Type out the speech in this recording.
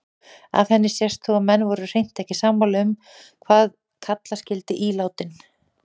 Af henni sést þó að menn voru hreint ekki sammála um hvað kalla skyldi ílátin.